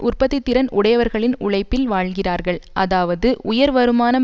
உற்பத்தி திறன் உடையவர்களின் உழைப்பில் வாழ்கிறார்கள் அதாவது உயர் வருமானம்